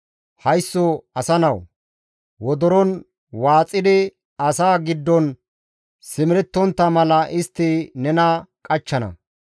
Haysso asa nawu! Wodoron waaxidi asaa giddon simerettontta mala istti nena qachchana.